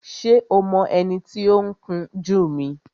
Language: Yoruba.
Ṣé o mọ ẹni tí ó ń kun jú mi?